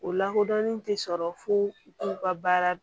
O lakodɔnnen tɛ fo u ka baara